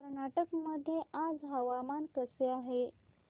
कर्नाटक मध्ये आज हवामान कसे आहे